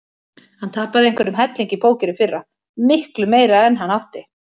Hann tapaði einhverjum helling í póker í fyrra, miklu meira en hann átti.